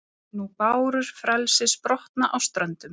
nú bárur frelsis brotna á ströndum